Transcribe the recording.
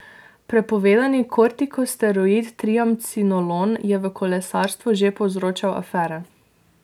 Prepovedani kortikosteroid triamcinolon je v kolesarstvu že povzročal afere.